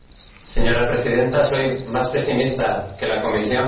Señora Presidenta, soy más pesimista que la Comisión.